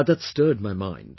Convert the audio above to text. But that stirred my mind